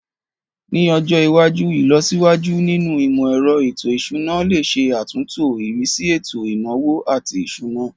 Ní ọjọ iwájú, ìlọsíwájú nínú imọ-ẹrọ ètò ìṣúná lè ṣe àtúntò ìrísí ètò ìnáwó àti ìṣúná.